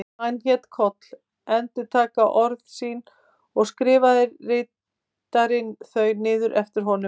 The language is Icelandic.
Hann lét Koll endurtaka orð sín og skrifaði ritarinn þau niður eftir honum.